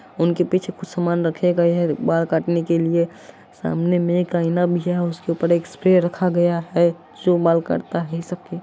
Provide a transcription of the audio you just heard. उनके पीछे कुछ सामान रखे गए है बाल काटने के लिए सामने में एक आईना भी है उसके ऊपर एक स्प्रे रखा गया है जो बाल काटता है सबके।